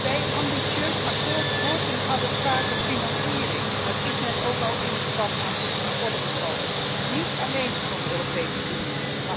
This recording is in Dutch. Bij een ambitieus akkoord hoort een adequate financiering dat is net ook al in het debat aan de orde gesteld en niet alleen van de Europese Unie.